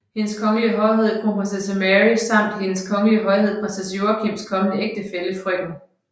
Hendes Kongelige Højhed Kronprinsesse Mary samt Hendes Kongelige Højhed Prins Joachims kommende ægtefælle frk